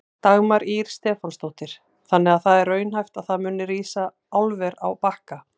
Dagmar Ýr Stefánsdóttir: Þannig að það er raunhæft að það muni rísa álver á Bakka?